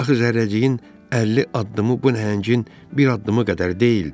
Axı zərrəciyin 50 addımı bu nəhəngin bir addımı qədər deyildi.